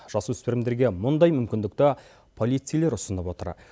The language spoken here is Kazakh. жасөспірімдерге мұндай мүмкіндікті полицейлер ұсынып отыр